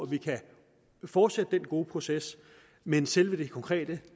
vi kan fortsætte den gode proces men selve det konkrete